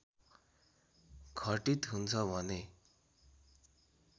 घटित हुन्छ भने